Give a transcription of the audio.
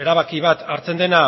erabaki bat hartzen dena